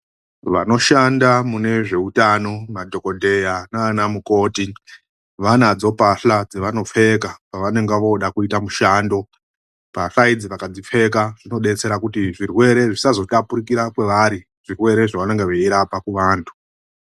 Vanoshanda munezvoutano madhokodheya nanamukoti, vanadzo mbahla dzavanopfeka pavanenge voda kuita mushando. Mbahla idzi vakadzipfeka dzinodetsera kuti ,zvirwere zvisazotapukira kwovari, zvirwere zvavanenga veirapa kuvantu.